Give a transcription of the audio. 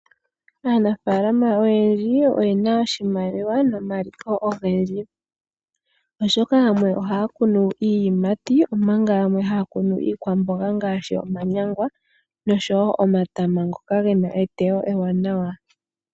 Aanafaalama oyendji oyena oshimaliwa nomaliko ogendji oshoka, yamwe ohaa kunu iiyimati , omanga yamwe haa kunu iikwamboga ngaashi omanyangwa noshowoo omatama ngoka gena eteyo ewanawa.